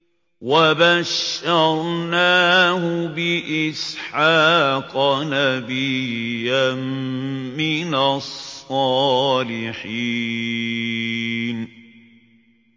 وَبَشَّرْنَاهُ بِإِسْحَاقَ نَبِيًّا مِّنَ الصَّالِحِينَ